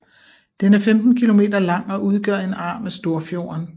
Den er 15 kilometer lang og udgør en arm af Storfjorden